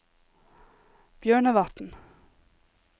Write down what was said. Bjørnevatn